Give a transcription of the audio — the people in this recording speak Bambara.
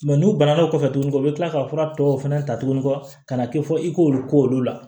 n'u banana o kɔfɛ tuguni u bɛ kila ka fura tɔw fɛnɛ ta tugunni ka na kɛ fɔ i k'olu k'olu la